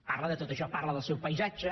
parla de tot això parla del seu paisatge